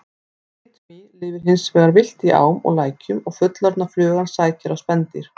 Bitmý lifir hins vegar villt í ám og lækjum og fullorðna flugan sækir á spendýr.